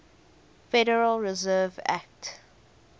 federal reserve act